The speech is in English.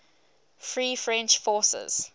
free french forces